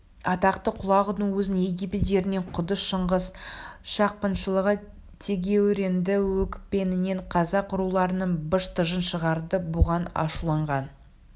атақты құлағудың өзін египет жерінен қуды шыңғыс шапқыншылығы тегеурінді екпінімен қазақ руларының быж-тыжын шығарды бұған ашуланған